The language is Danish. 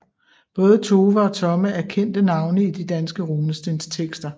Både Tove og Tomme er kendte navne i de danske runestenstekster